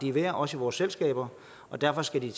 er værd også i vores selskaber og derfor skal de